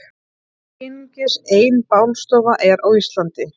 Einungis ein bálstofa er á Íslandi.